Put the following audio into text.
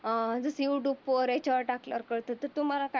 अं जस युट्युब वर याच्यावर टाकलं प तस तुम्हाला काय वाटतं.